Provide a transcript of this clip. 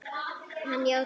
Hann játaði því.